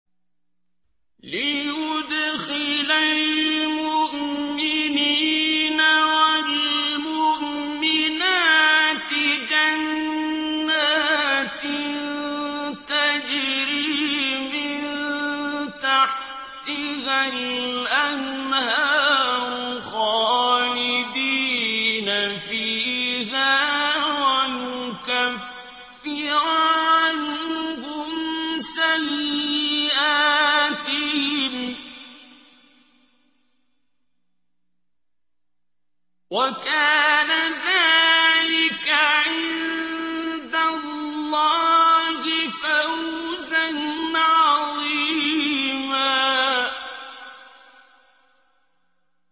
لِّيُدْخِلَ الْمُؤْمِنِينَ وَالْمُؤْمِنَاتِ جَنَّاتٍ تَجْرِي مِن تَحْتِهَا الْأَنْهَارُ خَالِدِينَ فِيهَا وَيُكَفِّرَ عَنْهُمْ سَيِّئَاتِهِمْ ۚ وَكَانَ ذَٰلِكَ عِندَ اللَّهِ فَوْزًا عَظِيمًا